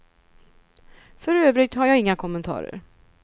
För övrigt har jag inga kommentarer.